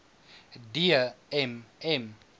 d m m